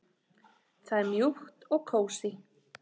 Það er mjúkt og kósí.